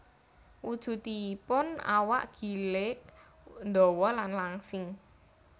Wujudipun awak gilig ndawa lan langsing